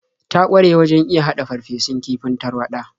Ta ƙware wajen iya haɗa farfesun kifin tarwaɗa.